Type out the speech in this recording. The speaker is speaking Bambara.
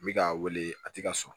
N bɛ k'a wele a tɛ ka sɔn